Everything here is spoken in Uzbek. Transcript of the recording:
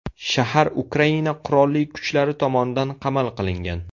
Shahar Ukraina Qurolli kuchlari tomonidan qamal qilingan.